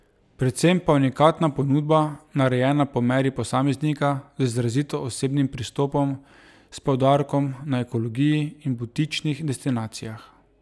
Predvsem pa unikatna ponudba narejena po meri posameznika, z izrazito osebnim pristopom, s poudarkom na ekologiji in butičnih destinacijah.